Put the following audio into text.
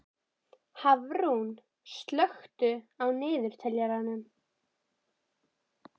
Hafrún, slökktu á niðurteljaranum.